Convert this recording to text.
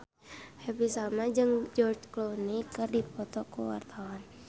Happy Salma jeung George Clooney keur dipoto ku wartawan